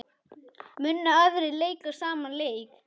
Munu aðrir leika sama leik?